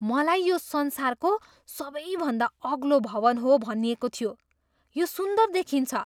मलाई यो संसारको सबैभन्दा अग्लो भवन हो भनिएको थियो। यो सुन्दर देखिन्छ!